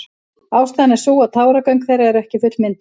Ástæðan er sú að táragöng þeirra eru ekki fullmynduð.